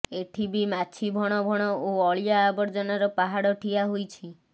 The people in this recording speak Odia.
ଏଠିବି ମାଛି ଭଣଭଣ ଓ ଅଳିଆ ଆବର୍ଜନାର ପାହାଡ଼ ଠିଆ ହୋଇଛି